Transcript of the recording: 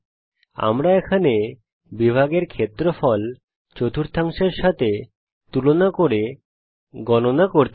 আমরা এখানে বিভাগ এর ক্ষেত্রফল চতুর্থাংশের সাথে তুলনা করে গণনা করতে চাই